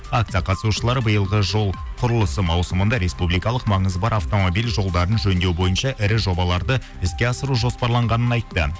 акция қатысушылары биылғы жол құрылысы маусымында республикалық маңызы бар автомобиль жолдарын жөндеу бойынша ірі жобаларды іске асыру жоспарланығанын айтты